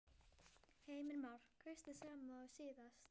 Heimir Már: Kaustu sama og síðast?